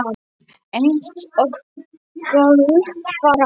Eins og gölluð vara.